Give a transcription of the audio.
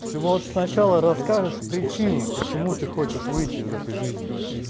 ты можешь сначала расскажешь причину почему ты хочешь выйти из этой жизни